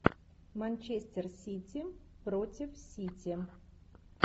манчестер сити против сити